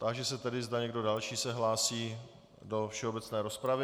Táži se tedy, zda někdo další se hlásí do všeobecné rozpravy.